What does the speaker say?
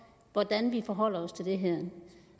hvordan vi forholder os til det her